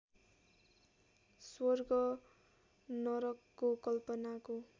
स्वर्ग नरकको कल्पनाको